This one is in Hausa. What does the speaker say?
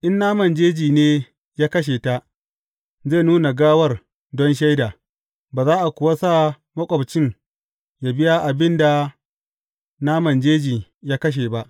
In naman jeji ne ya kashe ta, zai nuna gawar don shaida, ba za a kuwa sa maƙwabcin yă biya abin da naman jeji ya kashe ba.